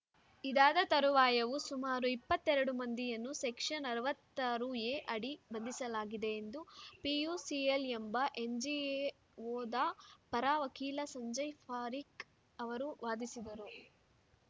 ಇದಾದ ತರುವಾಯವೂ ಸುಮಾರು ಇಪ್ಪತ್ತೆರಡು ಮಂದಿಯನ್ನು ಸೆಕ್ಷನ್‌ ಅರವತ್ತ್ ತರು ಎ ಅಡಿ ಬಂಧಿಸಲಾಗಿದೆ ಎಂದು ಪಿಯುಸಿಎಲ್‌ ಎಂಬ ಎನ್‌ಜಿಒದ ಪರ ವಕೀಲ ಸಂಜಯ್‌ ಪಾರೀಖ್‌ ಅವರು ವಾದಿಸಿದರು